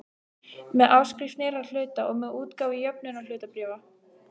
með áskrift nýrra hluta og með útgáfu jöfnunarhlutabréfa.